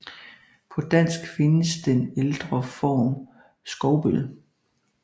På dansk findes også den ældre form Skovbøl